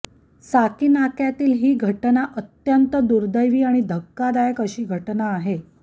साकीनाक्यातील ही घटना अत्यंत दुर्देवी आणि धक्कादायक अशी घटना आहे